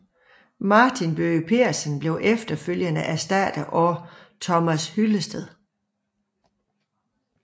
Martin Bøge Pedersen blev efterfølgende erstattet af Thomas Hyllested